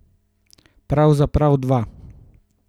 Pravzaprav dva.